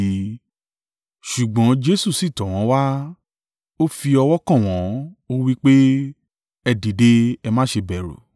Ṣùgbọ́n Jesu sì tọ̀ wọ́n wá. Ó fi ọwọ́ kàn wọ́n, ó wí pé, “Ẹ dìde, ẹ má ṣe bẹ̀rù.”